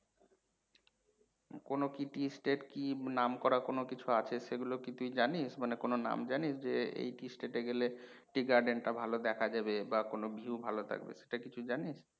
কোনও কি tea estate কি নাম করা কোনও কিছু আছে সেগুলো কি তুই জানিস? মানে কোনও নাম জানিস যে এই কি state এ গেলে tea garden টা ভালো দেখা যাবে বা কোনও কিছু ভালো থাকবে সেটা কি তুই জানিস?